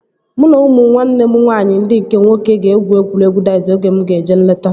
Mụ na ụmụ nwanne m nwaanyị ndị nke nwoke egwu egwuregwu daiz oge mụ ga-eje nleta